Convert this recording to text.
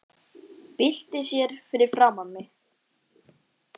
Byltir sér fyrir framan mig.